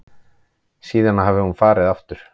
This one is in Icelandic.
Síðan hafi hún farið aftur.